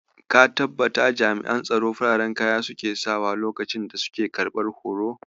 Ka tabbata jami'an tsaro fararen kaya suke sakawa lokacin da suke karɓar hoto?